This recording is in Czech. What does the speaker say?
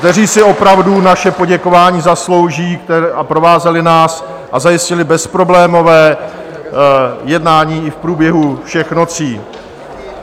... kteří si opravdu naše poděkování zaslouží a provázeli nás a zajistili bezproblémové jednání i v průběhu všech nocí.